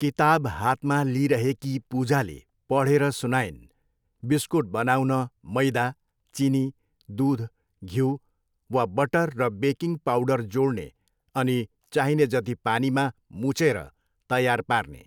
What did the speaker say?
किताब हातमा लिइरहेकी पूजाले पढेर सुनाइन्, बिस्कुट बनाउन मैदा, चिनी, दुध, घिउ वा बटर र बेकिङ पाउडर जोड्ने अनि चाहिने जति पानीमा मुछेर तयार पार्ने।